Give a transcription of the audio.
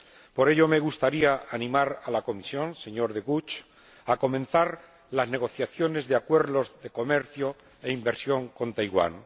Por ello, me gustaría animar a la Comisión, señor De Gucht, a comenzar las negociaciones de acuerdos de comercio e inversión con Taiwán.